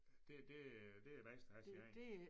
Det det det er bedst at have sine egne